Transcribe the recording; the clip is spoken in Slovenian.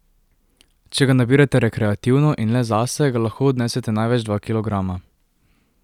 Če ga nabirate rekreativno in le zase, ga lahko odnesete največ dva kilograma.